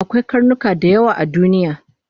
Akwai karnuka dayawa a duniya